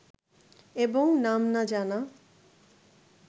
এবং নাম না জানা